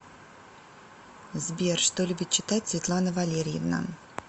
сбер что любит читать светлана валерьевна